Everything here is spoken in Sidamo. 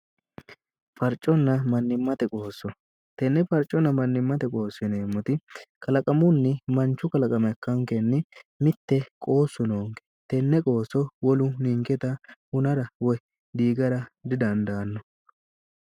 farcoonna mnnimmate qooso tenne farcoonna mannimmate qoosineemmoti kalaqamunni manchu kalaqama ikkaankenni mitte qoossu noonke tenne qooso wolu ningeta hunara woy dhiigara didandaanno